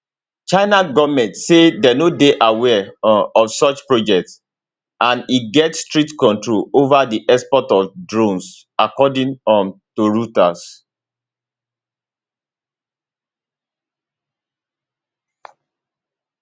china goment say dem no dey aware um of such project and e get strict controls ova di export of drones according um to reuters